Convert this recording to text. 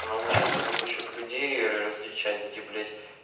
научился бы ещё людей различать где блять